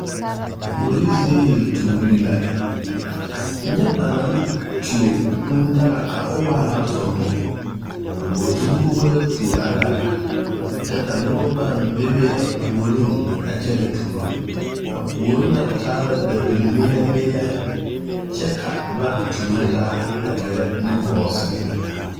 kuori zie yeltuuree la nyɛ ba naŋ tuo kùù daga ka o waa ŋa sommo a bogi zugebo la tuo a daga kyɛ ka noba pââ bebe a puoriŋ a kyɛnɛ tuuro a puoriŋ na taa la dabimeelɛ meelɛ kyɛ ka ba tuuro taa gerɛ nugɔɔ seŋ